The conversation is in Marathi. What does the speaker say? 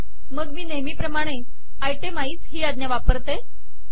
मग मी नेहमी प्रमाणे आयटेमाइझ आज्ञा वापरते